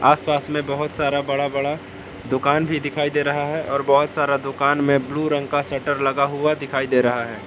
आसपास में बहोत सारा बड़ा बड़ा दुकान भी दिखाई दे रहा है और बहोत सारा दुकान में ब्लू रंग का शटर लगा हुआ दिखाई दे रहा है।